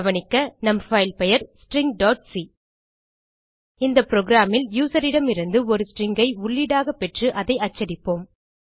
கவனிக்க நம் பைல் பெயர் stringசி இந்த programல் யூசர் இடமிருந்து ஒரு ஸ்ட்ரிங் ஐ உள்ளீடாக பெற்று அதை அச்சடிப்போம்